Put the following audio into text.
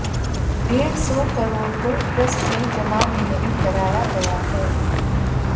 डेढ़ सौ करोड़ को ट्रस्ट में जमा ही नहीं कराया गया है